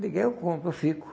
Me dê, eu compro, eu fico.